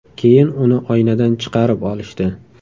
Keyin uni oynadan chiqarib olishdi.